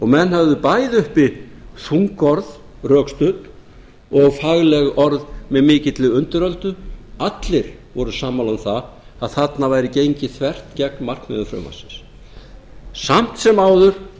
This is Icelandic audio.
menn höfðu bæði uppi þung orð rökstudd og fagleg orð með mikilli undiröldu allir voru sammála um það að þarna væri gengið þvert gegn markmiðum frumvarpsins samt sem áður